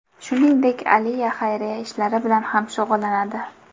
Shuningdek, Aliya xayriya ishlari bilan ham shug‘ullanadi.